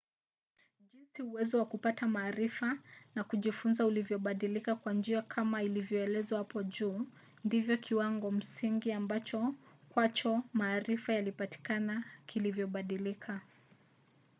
jinsi uwezo wa kupata maarifa na kujifunza ulivyobadilika kwa njia kama ilivyoelezewa hapo juu ndivyo kiwango msingi ambacho kwacho maarifa yalipatikana kilivyobadilika